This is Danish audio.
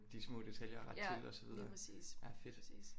De små detaljer og rette til og så videre ja fedt